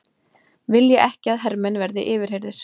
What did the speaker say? Vilja ekki að hermenn verði yfirheyrðir